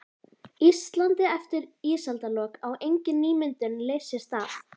Íslandi eftir ísaldarlok, á engin nýmyndun leirs sér stað.